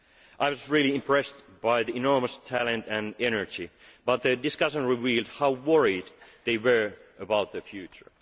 students. I was impressed by their enormous talent and energy. But the discussion revealed how worried they were about